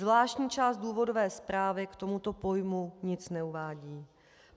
Zvláštní část důvodové zprávy k tomuto pojmu nic neuvádí.